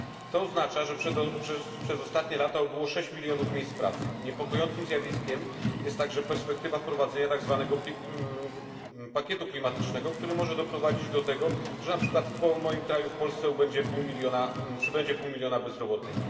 To oznacza, że przez ostatnie lata ubyło 6 milionów miejsc pracy. Niepokojącym zjawiskiem jest także perspektywa wprowadzenia tzw. pakietu klimatycznego, który może doprowadzić do tego, że na przykład w moim kraju, w Polsce, przybędzie pół miliona bezrobotnych.